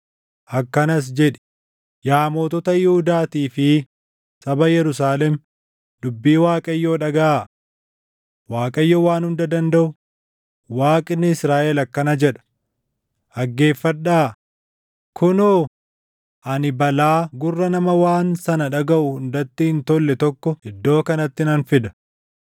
akkanas jedhi; ‘Yaa mootota Yihuudaatii fi saba Yerusaalem dubbii Waaqayyoo dhagaʼaa. Waaqayyo Waan Hunda Dandaʼu, Waaqni Israaʼel akkana jedha: Dhaggeeffadhaa! Kunoo, ani balaa gurra nama waan sana dhagaʼu hundatti hin tolle tokko iddoo kanatti nan fida.